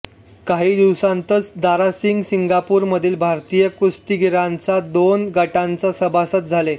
काही दिवसांतच दारासिंग सिंगापूरमधील भारतीय कुस्तीगीरांच्या दोन गटांचा सभासद झाले